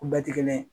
U bɛɛ tɛ kelen ye